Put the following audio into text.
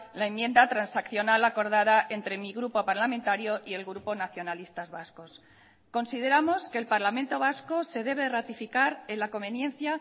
la enmienda transaccional acordada entre mi grupo parlamentario y el grupo nacionalistas vascos consideramos que el parlamento vasco se debe ratificar en la conveniencia